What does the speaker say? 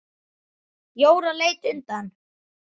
Jóra leit undan.